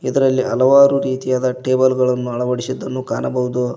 ಇದರಲ್ಲಿ ಹಲವಾರು ರೀತಿಯಾದ ಟೇಬಲ್ ಗಳನ್ನು ಅಳವಡಿಸಿದ್ದನ್ನು ಕಾಣಬಹುದು.